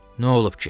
Nə olub ki?